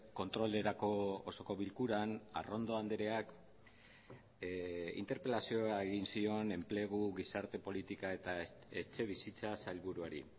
kontrolerako osoko bilkuran arrondo andreak interpelazioa egin zion enplegu gizarte politika eta etxebizitza sailburuari